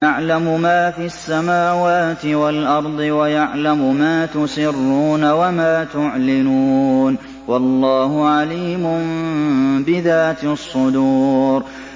يَعْلَمُ مَا فِي السَّمَاوَاتِ وَالْأَرْضِ وَيَعْلَمُ مَا تُسِرُّونَ وَمَا تُعْلِنُونَ ۚ وَاللَّهُ عَلِيمٌ بِذَاتِ الصُّدُورِ